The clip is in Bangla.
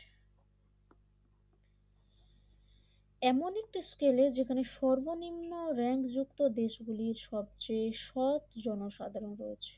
এমন একটি স্কেলে যেখানে সর্বনিম্ন রেক যুক্ত দেশ গুলি সবচেয়ে সবচেয়ে সৎ জনসাধারণ রয়েছে।